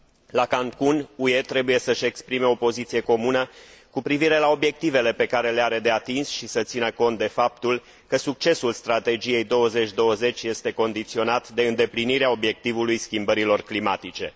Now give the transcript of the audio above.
La Cancun, UE trebuie să și exprime o poziție comună cu privire la obiectivele pe care le are de atins și să țină cont de faptul că succesul Strategiei 2020 este condiționat de îndeplinirea obiectivului schimbărilor climatice.